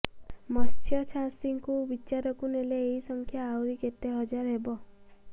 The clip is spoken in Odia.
ମତ୍ସ୍ୟଚାଷୀଙ୍କୁ ବିଚାରକୁ ନେଲେ ଏହି ସଂଖ୍ୟା ଆହୁରି କେତେ ହଜାର ହେବ